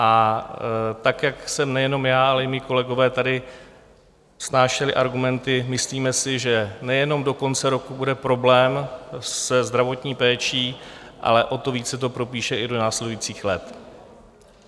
A tak jak jsem nejenom já, ale i mí kolegové tady vznášeli argumenty, myslíme si, že nejenom do konce roku bude problém se zdravotní péčí, ale o to víc se to propíše i do následujících let.